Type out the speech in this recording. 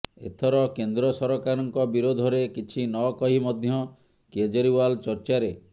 ଏଥର କେନ୍ଦ୍ର ସରକାରଙ୍କ ବିରୋଧରେ କିଛି ନ କହି ମଧ୍ୟ କେଜରିୱାଲ ଚର୍ଚ୍ଚାରେ